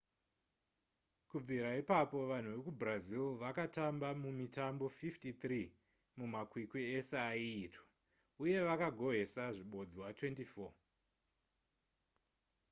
kubvira ipapo vanhu vekubrazil vakatamba mumitambo 53 mumakwikwi ese aiitwa uye vakagohwesa zvibodzwa 24